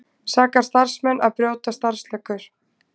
Sakar starfsmenn að brjóta starfsreglur